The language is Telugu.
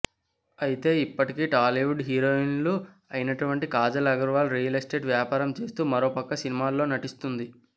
అయితే ఇప్పటికే టాలీవుడ్ హీరోయిన్లు అయినటువంటి కాజల్ అగర్వాల్ రియల్ ఎస్టేట్ వ్యాపారం చేస్తూ మరో పక్క సినిమాల్లో నటిస్తోంది